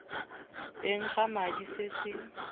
teng ga madi se se